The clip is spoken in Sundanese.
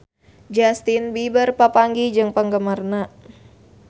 Justin Beiber papanggih jeung penggemarna